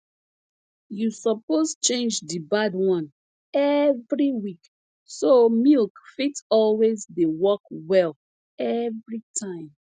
you suppose change di bad one every week so milk fit always dey work well every time